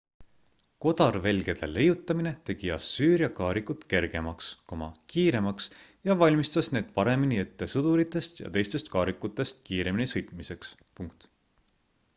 kodarvelgede leiutamine tegi assüüria kaarikud kergemaks kiiremaks ja valmistas need paremini ette sõduritest ja teistest kaarikutest kiiremini sõitmiseks